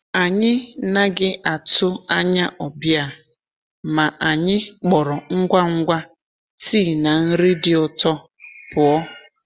Anyị naghị atụ anya ọbịa, ma anyị kpọrọ ngwa ngwa tii na nri dị ụtọ pụọ.